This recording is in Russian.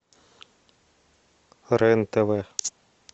рен тв